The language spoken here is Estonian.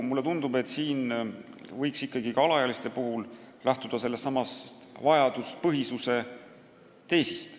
Mulle tundub, et ka alaealiste puhul võiks lähtuda sellestsamast vajaduspõhisuse teesist.